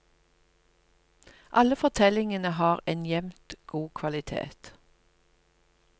Alle fortellingene har en jevnt god kvalitet.